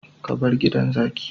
Ka bar gidan zaki